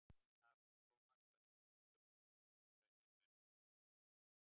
Af Thomas Huxley eru ýmsir frægir menn komnir.